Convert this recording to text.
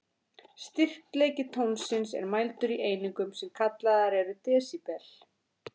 Styrkleiki tónsins er mældur í einingum, sem kallaðar eru desibel.